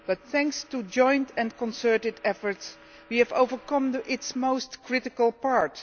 however, thanks to joint and concerted efforts, we have overcome its most critical part.